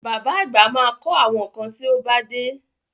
Bàbá àgbà ma kọ́ àwọn kan tí ó bá dé